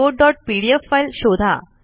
reportपीडीएफ file शोधा